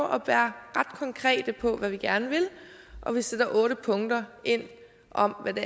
at være ret konkrete på hvad vi gerne vil og vi sætter otte punkter ind om hvad det